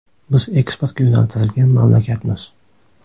Biz eksportga yo‘naltirilgan mamlakatmiz.